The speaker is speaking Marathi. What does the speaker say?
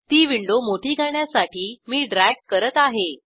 ती विंडो मोठी करण्यासाठी मी ड्रॅग करत आहे